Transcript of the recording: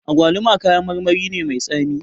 Agwaluma kayan marmari ne mai tsami